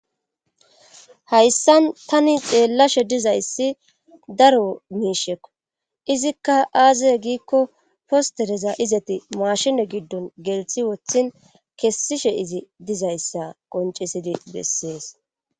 Hayssan tani xeellashe dizayssi daro miishekko izikka aazie giikko postereza izati maashine giddon gelthi wothin kessishe izi dizayssa qoncesidi bessees.